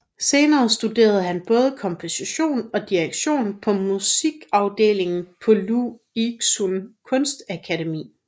Senere studerede han både komposition og direktion på Musikafdelingen på Lu Xun Kunstakademi